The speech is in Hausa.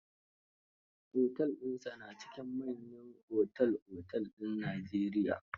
Otel dinsa na cikin manyan otel-otel din Najeriy